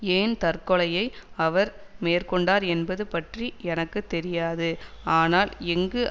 ஏன் தற்கொலையை அவர் மேற்கொண்டார் என்பது பற்றி எனக்கு தெரியாது ஆனால் எங்கு